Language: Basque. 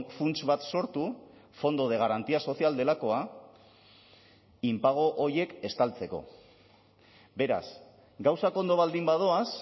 funts bat sortu fondo de garantía social delakoa inpago horiek estaltzeko beraz gauzak ondo baldin badoaz